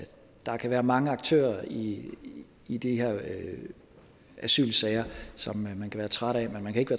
der kan være mange aktører i i de her asylsager som man kan være træt af men man kan ikke